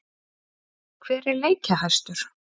Hver er leikjahæstur?